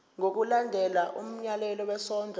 ngokulandela umyalelo wesondlo